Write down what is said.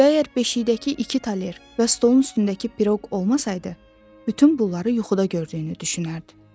Və əgər beşiyindəki iki toler və stolun üstündəki piroq olmasaydı, bütün bunları yuxuda gördüyünü düşünərdi.